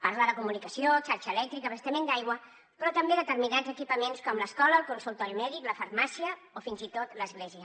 parla de comunicació xarxa elèctrica abastament d’aigua però també determinats equipaments com l’escola el consultori mèdic la farmàcia o fins i tot l’església